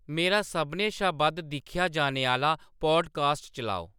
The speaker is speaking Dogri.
मेरा सभनें शा बद्ध दिक्खेआ जाने आह्‌‌‌ला पाडकास्ट चलाओ